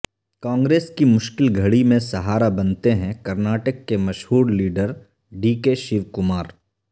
کانگریس کی مشکل گھڑی میں سہارا بنتے ہیں کرناٹک کے مشہور لیڈرڈی کے شیو کمار